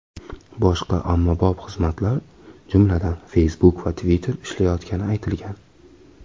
Boshqa ommabop xizmatlar, jumladan Facebook va Twitter ishlayotgani aytilgan.